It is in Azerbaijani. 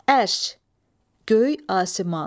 Ərş, göy, asiman.